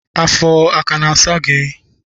Afọ aka na-asa gị?